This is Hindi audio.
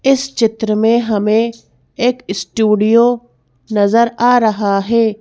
इस चित्र में हमें एक स्टूडियो नजर आ रहा है।